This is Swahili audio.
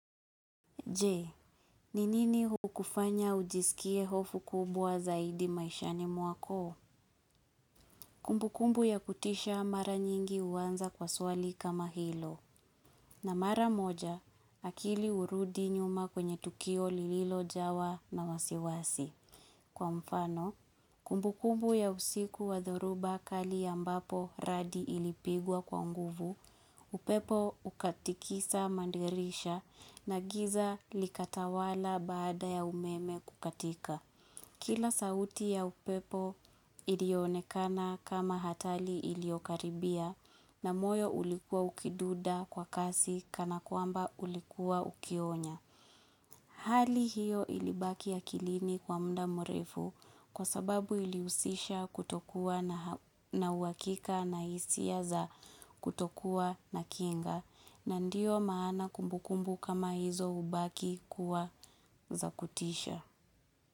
Je, ni nini hukufanya ujisikie hofu kubwa zaidi maishani mwako? Kumbu kumbu ya kutisha mara nyingi huanza kwa swali kama hilo. Na mara moja, akili hurudi nyuma kwenye tukio lililo jawa na wasiwasi. Kwa mfano, kumbu kumbu ya usiku wa dhoruba kali ambapo radi ilipigwa kwa nguvu, upepo ukatikisa madirisha na giza likatawala baada ya umeme kukatika. Kila sauti ya upepo ilionekana kama hatari iliokaribia na moyo ulikuwa ukidunda kwa kasi kana kwamba ulikuwa ukionya. Hali hiyo ilibaki ya akilini kwa mda mrefu kwa sababu ilihusisha kutokua na uhakika na hisia za kutokuwa na kinga na ndiyo maana kumbukumbu kama hizo hubaki kuwa za kutisha.